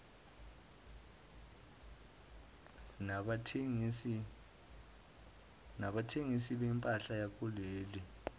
nabathengisi bempahla yakuleli